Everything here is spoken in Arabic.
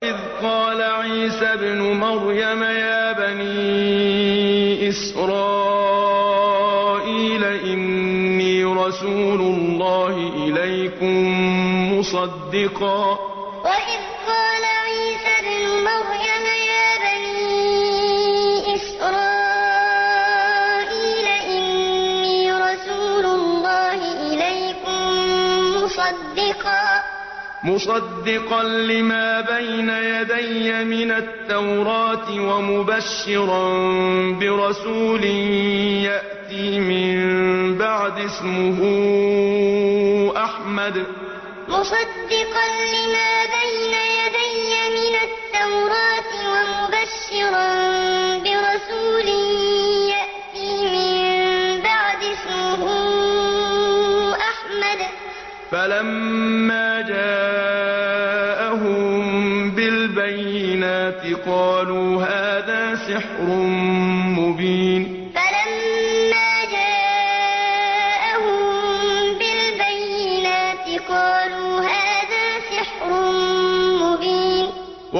وَإِذْ قَالَ عِيسَى ابْنُ مَرْيَمَ يَا بَنِي إِسْرَائِيلَ إِنِّي رَسُولُ اللَّهِ إِلَيْكُم مُّصَدِّقًا لِّمَا بَيْنَ يَدَيَّ مِنَ التَّوْرَاةِ وَمُبَشِّرًا بِرَسُولٍ يَأْتِي مِن بَعْدِي اسْمُهُ أَحْمَدُ ۖ فَلَمَّا جَاءَهُم بِالْبَيِّنَاتِ قَالُوا هَٰذَا سِحْرٌ مُّبِينٌ وَإِذْ قَالَ عِيسَى ابْنُ مَرْيَمَ يَا بَنِي إِسْرَائِيلَ إِنِّي رَسُولُ اللَّهِ إِلَيْكُم مُّصَدِّقًا لِّمَا بَيْنَ يَدَيَّ مِنَ التَّوْرَاةِ وَمُبَشِّرًا بِرَسُولٍ يَأْتِي مِن بَعْدِي اسْمُهُ أَحْمَدُ ۖ فَلَمَّا جَاءَهُم بِالْبَيِّنَاتِ قَالُوا هَٰذَا سِحْرٌ مُّبِينٌ